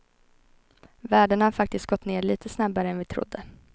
Värdena har faktiskt gått ned litet snabbare än vi trodde.